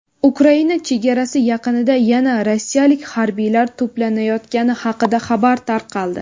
Ukraina chegarasi yaqinida yana rossiyalik harbiylar to‘planayotgani haqida xabar tarqaldi.